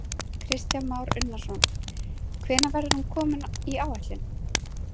Kristján Már Unnarsson: Hvenær verður hún komin í áætlun?